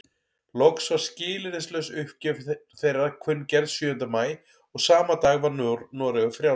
Loks var skilyrðislaus uppgjöf þeirra kunngerð sjöunda maí og sama dag var Noregur frjáls.